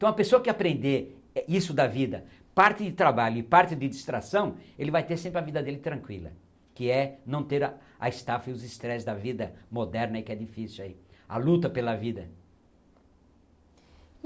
Então, a pessoa que aprender isso da vida, parte de trabalho e parte de distração, ele vai ter sempre a vida dele tranquila, que é não ter a a estafa e os estresse da vida moderna, que é difícil aí, a luta pela vida.